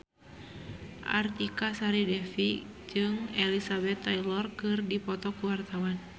Artika Sari Devi jeung Elizabeth Taylor keur dipoto ku wartawan